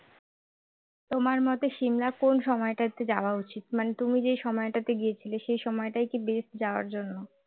তোমার মতে সিমলা কোন সময়টাতে যাওয়া উচিত মানে তুমি যে সময়টাতে গিয়েছিলেন সেই সময়টাই কি best যাওয়ার জন্য